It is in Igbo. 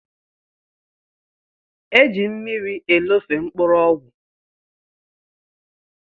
Eji mmiri elofe mkpụrụ ọgwụ.